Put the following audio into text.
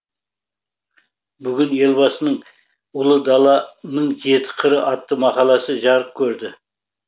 бүгін елбасының ұлы даланың жеті қыры атты мақаласы жарық көрді